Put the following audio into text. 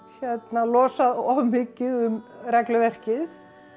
losað of mikið um regluverkið